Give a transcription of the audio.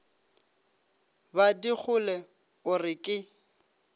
ba digole o re ke